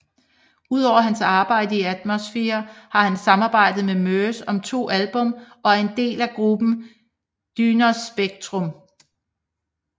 Udover hans arbejde i Atmosphere har han samarbejdet med Murs om to album og er en del af gruppen Dynospectrum